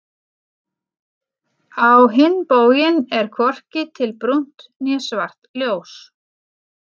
Á hinn bóginn er hvorki til brúnt né svart ljós.